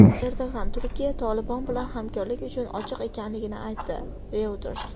Erdo‘g‘an Turkiya "Tolibon" bilan hamkorlik uchun ochiq ekanligini aytdi — Reuters.